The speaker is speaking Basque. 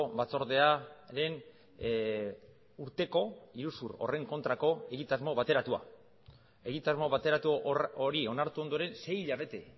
batzordearen urteko iruzur horren kontrako egitasmo bateratua egitasmo bateratu hori onartu ondoren sei hilabete